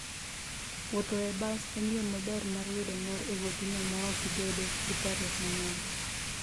Wuotho e bas en yo maber mar yudo mor e wuodhino maok ibedo gi parruok mang'eny.